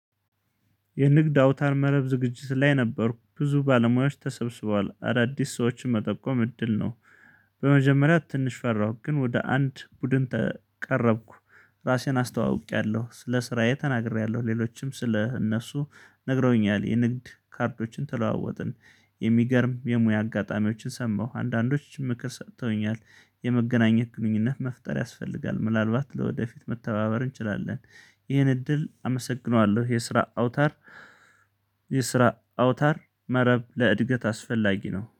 የንግድ አውታር መረብ ዝግጅት ላይ ነበርኩ ብዙ ባለሙያዎች ተሰብስቧል አዳዲስ ሰዎችን መጠቆም እድል ነው። በመጀመሪያ ትንሽ ፈራሁ ግን ወደ አንድ ቡድን ተቀረብኩ። ራሴን አስተዋውቄያለሁ ስለ ስራዬ ተናግሬያለሁ ሌሎችም ስለ እነሱ ነግረውኛል የንግድ ካርዶችን ተለዋወጥን። የሚገርም የሙያ አጋጣሚዎችን ሰማሁ አንዳንዶችም ምክር ሰጥተውኛል የመገናኘት ግንኙነት መፍጠር ያስፈልጋል ምናልባት ለወደፊት መተባበር እንችላለን። ይህን እድል አመሰግነዋለሁ የስራ አውታር አውታር። የስራ አውታር መረብ ለእድገት አስፈላጊ ነው